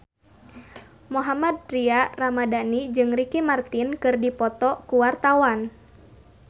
Mohammad Tria Ramadhani jeung Ricky Martin keur dipoto ku wartawan